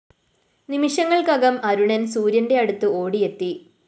നിമിഷങ്ങള്‍ക്കകം അരുണന്‍ സൂര്യന്റെ അടുത്ത് ഓടിയെത്തി